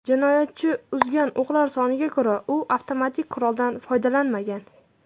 Jinoyatchi uzgan o‘qlar soniga ko‘ra, u avtomatik quroldan foydalanmagan.